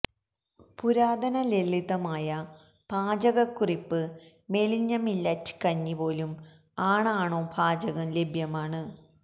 പുരാതന ലളിതമായ പാചകക്കുറിപ്പ് മെലിഞ്ഞ മില്ലറ്റ് കഞ്ഞി പോലും ആണാണോ പാചകം ലഭ്യമാണ്